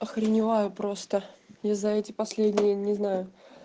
охреневаю просто я за эти последние не знаю